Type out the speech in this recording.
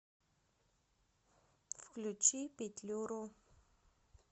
включи петлюру